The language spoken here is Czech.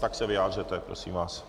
Tak se vyjádřete, prosím vás.